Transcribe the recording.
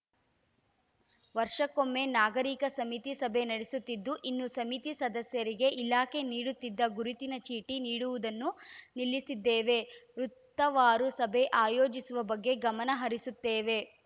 ವರ್ಷಕ್ಕೊಮ್ಮೆ ನಾಗರೀಕ ಸಮಿತಿ ಸಭೆ ನಡೆಸುತ್ತಿದ್ದು ಇನ್ನು ಸಮಿತಿ ಸದಸ್ಯರಿಗೆ ಇಲಾಖೆ ನೀಡುತ್ತಿದ್ದ ಗುರುತಿನ ಚೀಟಿ ನೀಡುವುದನ್ನು ನಿಲ್ಲಿಸಿದ್ದೇವೆ ವೃತ್ತವಾರು ಸಭೆ ಆಯೋಜಿಸುವ ಬಗ್ಗೆ ಗಮನ ಹರಿಸುತ್ತೇವೆ